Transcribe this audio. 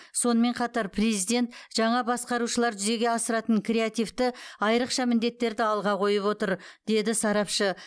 сонымен қатар президент жаңа басқарушылар жүзеге асыратын креативті айрықша міндеттерді алға қойып отыр деді сарапшы